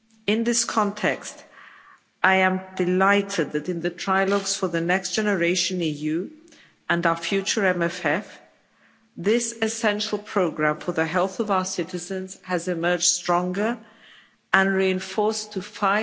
In this context I am delighted that in the trilogues for the Next Generation EU, and our future MFF, this essential programme for the health of our citizens has emerged stronger and reinforced to EUR